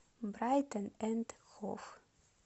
брайтон энд хов